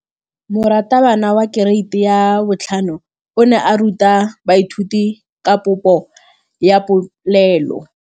Moratabana wa kereiti ya 5 o ne a ruta baithuti ka popô ya polelô.